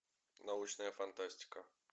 научная фантастика